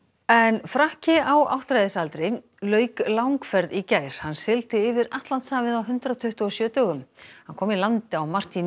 frakki á áttræðisaldri lauk langferð í gær hann sigldi yfir Atlantshafið á hundrað tuttugu og sjö dögum hann kom í land á